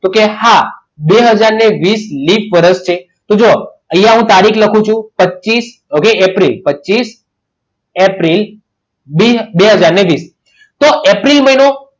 તો કે હા બે હાજર વીસ લિપ વર્ષ છે તો જુઓ અહીંયા હું તારીખ લખું છું પચીસ okay એપ્રિલ પચીસ એપ્રિલ બે હાજર વીસ તો એપ્રિલ મહિનો